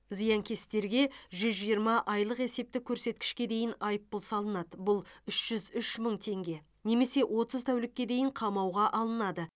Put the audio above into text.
зиянкестерге жүз жиырма айлық есептік көрсеткішке дейін айыппұл салынады бұл үш жүз үш мың теңге немесе отыз тәулікке дейін қамауға алынады